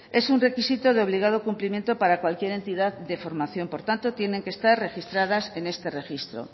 es un requisito de obligado cumplimiento para cualquier entidad de formación por tanto tienen que estar registradas en este registro